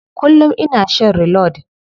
Kullum ina shan reload.